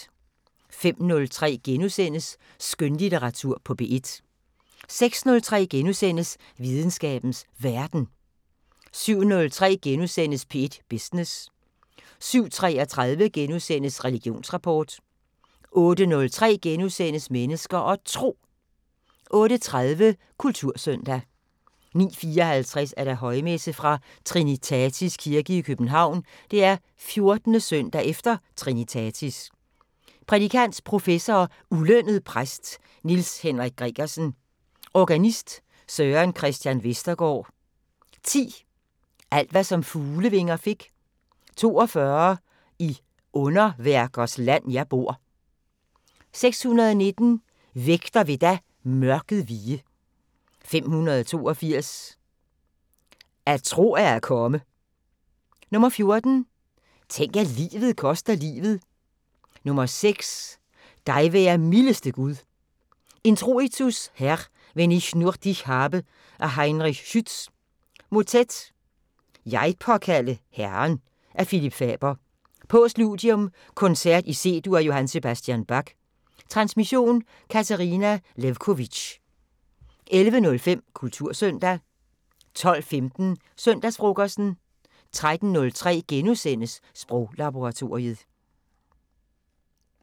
05:03: Skønlitteratur på P1 * 06:03: Videnskabens Verden * 07:03: P1 Business * 07:33: Religionsrapport * 08:03: Mennesker og Tro * 08:30: Kultursøndag 09:54: Højmesse - Fra Trinitatis Kirke i København. 14. søndag efter trinitatis. Prædikant: Professor og ulønnet præst Niels Henrik Gregersen. Organist: Søren Christian Vestergaard. 10: "Alt hvad som fuglevinger fik". 42: "I underværkers land jeg bor". 619: "Vægter vil da mørket vige". 582: "At tro er at komme". 14: "Tænk at livet koster livet". 6: "Dig være mildeste Gud". Introitus : "Herr, wenn ich nur dich habe" af Heinrich Schütz. Motet:"Jeg påkaldte Herren" af Philip Faber. Postludium: Koncert i C-dur, af J.S. Bach . Transmission: Katarina Lewkovitch. 11:05: Kultursøndag 12:15: Søndagsfrokosten 13:03: Sproglaboratoriet *